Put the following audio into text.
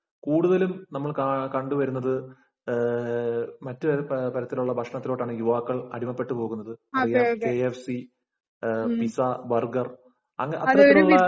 കൂടുതലും നമ്മള്‍ കണ്ടു വരുന്നത്മറ്റൊരു തരത്തിലുള്ള ഭക്ഷണത്തിലോട്ടാണ് യുവാക്കള്‍ അടിമപ്പെട്ടുപോകുന്നത്. K F C, pizza, burger‍ അത്തരത്തിലുള്ള